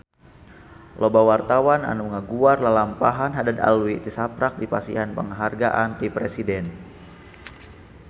Loba wartawan anu ngaguar lalampahan Haddad Alwi tisaprak dipasihan panghargaan ti Presiden